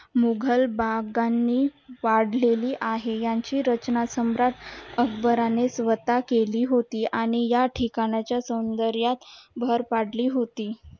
मुघल बागा नि वाढलेली आहे याची रचना सम्राट अगंबराने स्वता केली आणि या ठिकाणच्या सौंदर्यत भर पडली होती